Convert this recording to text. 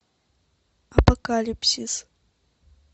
апокалипсис